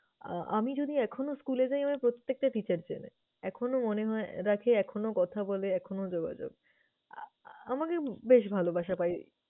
আহ আমি যদি এখনো school এ যাই আমায় প্রত্যেকটা teacher চেনে। এখনো মনে হয় রাখে, এখনো কথা বলে, এখনো যোগাযোগ। আহ আমাকে বেশ ভালোবাসা পাই।